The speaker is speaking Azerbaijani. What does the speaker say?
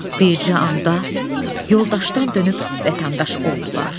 Bircə anda yoldaşdan dönüb vətəndaş oldular.